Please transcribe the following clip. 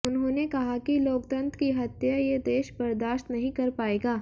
उन्होंने कहा कि लोकतंत्र की हत्या ये देश बर्दाश्त नहीं कर पाएगा